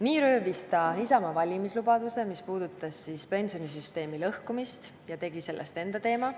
Nii röövis ta Isamaa valimislubaduse, mis puudutas pensionisüsteemi lõhkumist, ja tegi sellest enda teema.